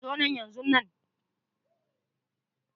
Zo nan yanzunan.